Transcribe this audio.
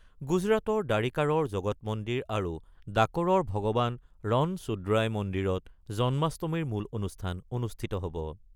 গুজৰাটৰ দ্বাৰিকাৰৰ জগত মন্দিৰ আৰু ডাকৰৰ ভগৱান ৰন চোদ্ৰাই মন্দিৰত জন্মাষ্টমীৰ মূল অনুষ্ঠান অনুষ্ঠিত হ'ব।